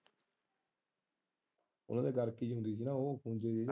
ਉਹਨਾਂ ਦੇ ਗਾਰਕੀ ਜਿਹੀ ਹੁੰਦੀ ਹੈ ਉਹ ਪਿੰਜੀ ਹੋਇ ਹੈ।